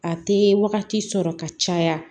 A tɛ wagati sɔrɔ ka caya